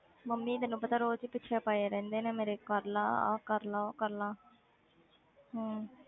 mummy ਤੈਨੂੰ ਪਤਾ ਰੋਜ਼ ਹੀ ਪਿੱਛੇ ਪਏ ਰਹਿੰਦੇ ਨੇ ਮੇਰੇ ਕਰ ਲਾ ਆਹ ਕਰ ਲਾ ਉਹ ਕਰ ਲਾ ਹਮ